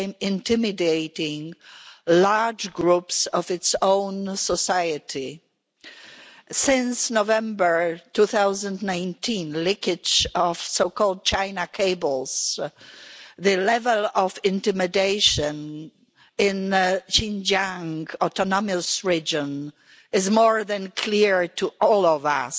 intimidating large groups of its own society. Since the November 2019 leakage of the so called China cables, the level of intimidation in the Xinjiang autonomous region is more than clear to all of us.